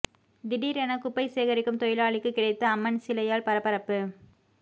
திடீரென குப்பை சேகரிக்கும் தொழிலாளிக்கு கிடைத்த அம்மன் சிலையால் பரபரப்பு